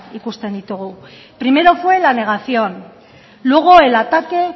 ikusten ditugu primero fue la negación luego el ataque